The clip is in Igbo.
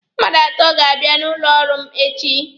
Mmadụ atọ ga-abịa n'ụlọ ọrụ m echi.